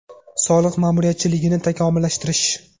Soliq ma’muriyatchiligini takomillashtirish.